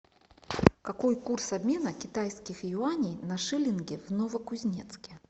какой курс обмена китайских юаней на шиллинги в новокузнецке